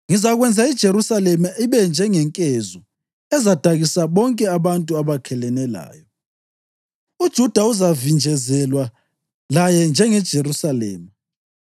“Ngizakwenza iJerusalema ibe njengenkezo ezadakisa bonke abantu abakhelene layo. UJuda uzavinjezelwa laye njengeJerusalema.